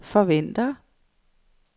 forventer